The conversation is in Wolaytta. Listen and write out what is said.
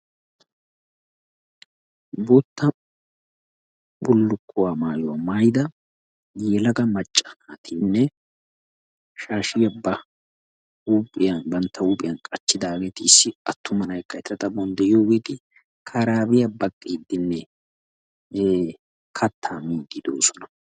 Bootta bullukuwaa maayuwaa maayida yelaga macca naatine shaashiya bantta huuphiya qachchidageti issi attuma na'aaykka eta xaphon deiyogeti karaabiya baqqidine katta miidi deosona.